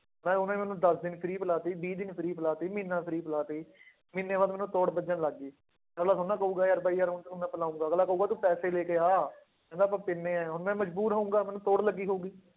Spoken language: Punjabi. ਮੈਂ ਉਹਨੇ ਮੈਨੂੰ ਦਸ ਦਿਨ free ਪਿਲਾ ਦਿੱਤੀ ਵੀਹ ਦਿਨ free ਪਿਲਾ ਦਿੱਤੀ, ਮਹੀਨਾ free ਪਿਲਾ ਦਿੱਤੀ ਮਹੀਨੇ ਬਾਅਦ ਮੈਨੂੰ ਤੋੜ ਲੱਗਣ ਲੱਗ ਗਈ, ਅਗਲਾ ਥੋੜ੍ਹਾ ਨਾ ਕਹੇਗਾ ਯਾਰ ਬਾਈ ਯਾਰ ਹੁਣ ਤੈਨੂੰ ਮੈਂ ਪਿਲਾਵਾਂਗਾ, ਅਗਲਾ ਕਹੇਗਾ ਤੂੰ ਪੈਸੇ ਲੈ ਕੇ ਆ, ਕਹਿੰਦਾ ਆਪਾਂ ਪੀਂਦੇ ਹਾਂ ਹੁਣ ਮੈਂ ਮਜ਼ਬੂਰ ਹੋਊਂਗਾ ਮੈਨੂੰ ਤੋੜ ਲੱਗੀ ਹੋਊਗੀ।